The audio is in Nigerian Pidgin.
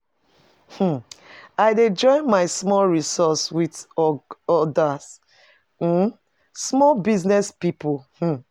um I dey join my small resource wit oda um small business pipo. um